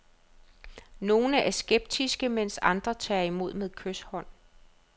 Nogle er skeptiske, mens andre tager imod med kyshånd.